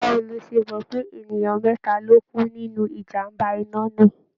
Báwo lo ṣe mọ̀ pé ènìyàn mẹ́ta ló kú nínu ijàm̀bá iná náà?